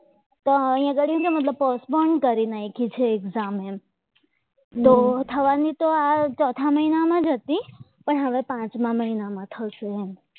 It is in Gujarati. તો અહીંયા ગાડી મતલબ પોસ્ટ પણ કરી નાખ્યું છે exam એમ તો થવાની તો આ ચોથા મહિનામાં જ હતી પણ હવે પાંચ મહિનામાં થશે એમ